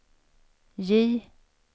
J